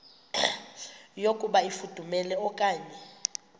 yokuba ifudumele okanye